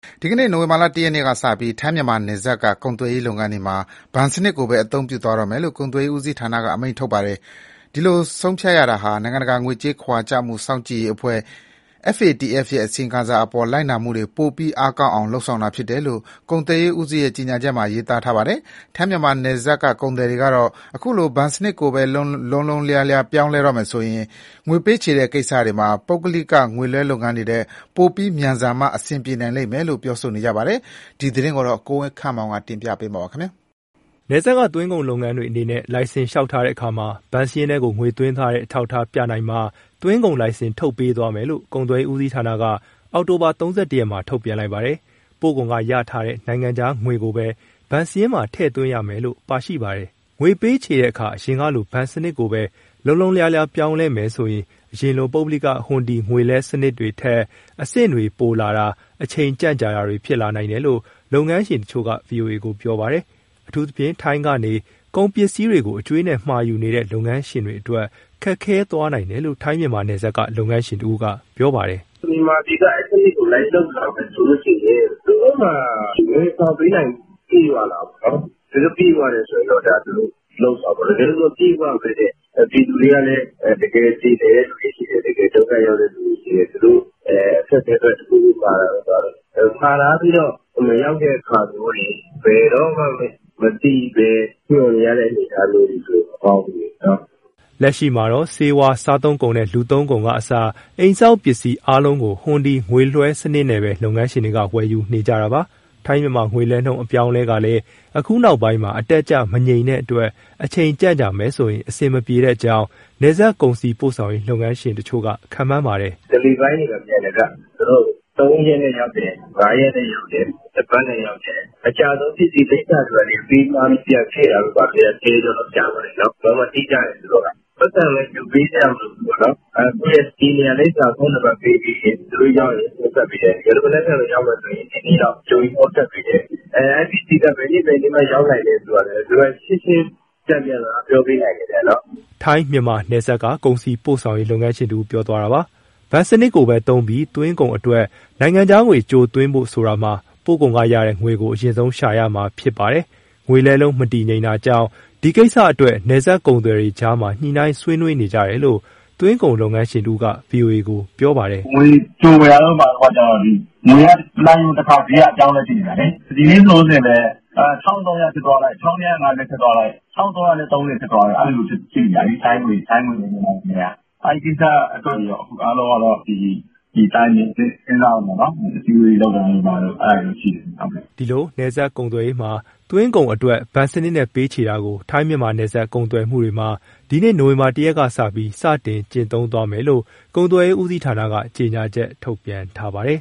ဒီနေ့ နိုဝင်ဘာ ၁ ရက်ကစပြီး ထိုင်း-မြန်မာနယ်စပ်က သွင်းကုန်လုပ်ငန်းတွေမှာ ဘဏ်စနစ်ကိုပဲ အသုံးပြုသွားတော့မယ်လို့ ကုန်သွယ်ရေးဦးစီးဌာနက အမိန့်ထုတ်ထားပါတယ်။ ဒီလို ဆုံးဖြတ်ရတာဟာ နိုင်ငံတကာ ငွေကြေးခဝါချမှု စောင့်ကြည့်ရေးအဖွဲ့ FATF ရဲ့ အစီရင်ခံစာအပေါ် လိုက်နာမှုတွေ ပိုပြီး အားကောင်းအောင် လုပ်ဆောင်တာဖြစ်တယ်လို့ ကုန်သွယ်ရေးဦးစီးရဲ့ ကြေညာချက်ထဲမှာ ရေးသားထားပါတယ်။ ထိုင်း-မြန်မာ နယ်စပ်က ကုန်သည်တွေကတော့ အခုလို ဘဏ်စနစ်ကိုပဲ လုံးလုံးလျားလျား ပြောင်းလဲတော့မယ်ဆိုရင် ငွေပေးချေတဲ့ကိစ္စတွေမှာ ပုဂ္ဂလိက ငွေလွှဲလုပ်ငန်းတွေထက် ပိုပြီးမြန်ဆန်မှ အဆင်ပြေနိုင်လိမ့်မယ်လို့ ပြောနေကြပါတယ်။ ဒီသတင်းကိုတော့ ကိုဝင်းခန့်မောင်က တင်ပြပေးထားပါတယ်။ နယ်စပ်က သွင်းကုန်လုပ်ငန်းရှင်တွေအနေနဲ့ လိုင်စင်လျှောက်ထားတဲ့အခါမှာ ဘဏ်စာရင်းထဲကို ငွေသွင်းထားတဲ့ အထောက်အထားပြနိုင်မှ သွင်းကုန်လိုင်စင်ထုတ်ပေးသွားမယ်လို့ ကုန်သွယ်ရေးဦးစီးဌာနက အောက်တိုဘာ ၃၁ ရက်မှာ ထုတ်ပြန်လိုက်ပါတယ်။ ပို့ကုန်ကရထားတဲ့ နိုင်ငံခြားငွေကိုပဲ ဘဏ်စရင်းမှာ ထည့်သွင်းရမယ်လို့ ပါရှိပါတယ်။ ငွေပေးချေတဲ့အခါ အရင်ကလို ဘဏ်စနစ်ကိုပဲ လုံးလုံးလျားလျား ပြောင်းလဲမယ်ဆိုရင် အရင်ကလို ပုဂ္ဂလိက ဟွန်ဒီ ငွေလွှဲစနစ်တွေထက် အဆင့်တွေပိုလာတာ၊ အချိန်ကြန့်ကြာတာတွေ ဖြစ်လာနိုင်တယ်လို့ လုပ်ငန်းရှင်တချို့က ဗွီအိုအေကို ပြောပါတယ်။ အထူးသဖြင့် ထိုင်းကနေ ကုန်ပစ္စည်းတွေကို အကြွေးနဲ့မှာယူနေတဲ့ လုပ်ငန်းရှင်တွေအတွက် ခက်ခဲသွားနိုင်တယ်လို့ ထိုင်း-မြန်မာနယ်စပ်က လုပ်ငန်းရှင်တဦးက ပြောပါတယ်။ "မြန်မာပြည်က အဲဒီစနစ်ကို လိုက်လုပ်လာမယ်ဆိုရင် သူတို့မှာ ဝန်ဆောင်ပေးနိုင်မှု ပြည့်ဝလားပေါ့နော်။ သူတို့ပြည့်ဝတယ်ဆို သူတို့လုပ်ပေါ့နော်။ တကယ်လို့ မပြည့်ဝဘဲနဲ့ ဒီလူတွေကလည်း တကယ် မပြေလည်တဲ့သူတွေ ရှိတယ်။ တကယ် ဒုက္ခရောက်တဲ့သူတွေ ရှိတယ်။ သူတို့အခက်အခဲအတွက် တခုခုမှာတာတို့ ဘာတို့၊ မှာထားပြီးတော့ မရောက်တဲ့ အခါမျိုးတွေ ဘယ်တော့မှမသိဘဲ မျှော်နေရတဲ့ အနေအထားမျိုးတွေဆို မကောင်းဘူးလေ။" လက်ရှိမှာတော့ ဆေးဝါး၊ စားသုံးကုန်နဲ့ လူသုံးကုန်ကအစ အိမ်ဆောက်ပစ္စည်း အားလုံးကို ဟွန်ဒီငွေလွှဲစနစ်နဲ့ပဲ လုပ်ငန်းရှင်တွေက ဝယ်ယူနေကြတာပါ။ ထိုင်း-မြန်မာငွေလဲနှုန်း အပြောင်းအလဲကလည်း အခုနောက်ပိုင်းမှာ အတက်အကျ မတည်ငြိမ်တဲ့အတွက် အချိန်ကြန့်ကြာမယ်ဆိုရင် အဆင်မပြေကြောင်း နယ်စပ် ကုန်စည်ပို့ဆောင်ရေး လုပ်ငန်းရှင်တချို့က ခန့်မှန်းပါတယ်။ "Deli ပိုင်းတွေက မြန်တယ်ဗျ၊ သူတို့ သုံးရက်နဲ့ရောက်တယ်၊ ငါးရက်နဲ့ရောက်တယ်၊ တပတ်နဲ့ရောက်တယ်။ အကြာဆုံးပစ္စည်း လိပ်စာတွေဘာတွေ အပေးမှားပြီး ပြန်ခဲ့တာတို့ဘာတို့ဆို ဆယ်ရက်လောက်ကြာတယ်။ သူတို့ကတိကျတယ်၊ ပိုက်ဆံလည်း ကြိုပေးစရာမလိုဘူး။ ကိုယ့်ရဲ့ တည်နေရာ၊ လိပ်စာ၊ ဖုန်းနံပါတ်ပေးပြီးရင် သူတို့ရောက်ရင် ဖုန်းဆက်ပေးတယ်။ တကယ်လို့ မနက်ဖြန် ရောက်မယ်ဆိုရင် ဒီနေ့ကြိုပြီး ဖုန်းဆက်ပေးတယ်။ အဲဒီပစ္စည်းက ဘယ်နေ့ဘယ်နေ့မှ ရောက်နိုင်မယ်ဆိုတာလည်း သူတို့ကရှင်းရှင်း တန်ပြန်စကား ပြောပေးနိုင်တယ်ဗျ။" ထိုင်း-မြန်မာနယ်စပ်က ကုန်စည်ပို့ဆောင်ရေး လုပ်ငန်းရှင်တဦး ပြောသွားတာပါ။ ဘဏ်စနစ်ကိုပဲသုံးပြီး သွင်းကုန်အတွက် နိုင်ငံခြားငွေ ကြိုသွင်းဖို့ဆိုတာမှာ ပို့ကုန်ကရတဲ့ငွေကို အရင်ဆုံးရှာရမှာ ဖြစ်ပါတယ်။ ငွေလဲနှုန်းမတည်ငြိမ်တာကြောင့် ဒီကိစ္စအတွက် နယ်စပ်ကုန်သည်တွေကြားမှာ ညှိနှိုင်းဆွေးနွေးနေကြတယ်လို့ သွင်းကုန်လုပ်ငန်းရှင်တဦးက ဗွီအိုအေကို ပြောပါတယ်။ " ငွေကြိုဝယ်တာတို့ ဘာတို့ကျတော့ ငွေက တနာရီကိုတခါ အပြောင်းအလဲ ဖြစ်နေတာလေ။ ဒီနေ့ လောလောဆယ်ပဲ ၁,၃၀၀ ဖြစ်သွားလိုက်၊ ၁,၂၅၀ ဖြစ်သွားလိုက်၊ ၁,၃၃၀ ဖြစ်သွားလိုက်နဲ့ အဲလိုဖြစ်နေတာ ထိုင်ငွေနဲ့ မြန်မာငွေက။ အဲဒီကိစ္စတွေအတွက် အခု အားလုံးကတော့ တိုင်ပင်၊ စဉ်းစားရမှာပေါ့နော်။ အစည်းအဝေးလုပ်တာတို့ ဘာတို့ အဲဒါတွေတော့ရှိတယ်ခင်ဗျ။" ဒီလို နယ်စပ်ကုန်သွယ်ရေးမှာ သွင်းကုန်အတွက် ဘဏ်စနစ်နဲ့ ပေးချေတာကို ထိုင်း-မြန်မာနယ်စပ် ကုန်သွယ်မှုတွေမှာ ဒီနေ့ နိုဝင်ဘာ ၁ ရက်ကစပြီး စတင်ကျင့်သုံး သွားမယ်လို့ ကုန်သွယ်ရေးဦးစီးဌာနက ကြေညာချက် ထုတ်ပြန်ထားပါတယ်